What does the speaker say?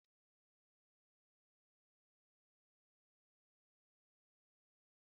Kedu ka m ga-esi sie noddles tupu ị gbakwunye ngwa nri?